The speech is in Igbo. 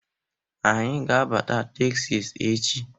Anyị ga-abata Teksas echi.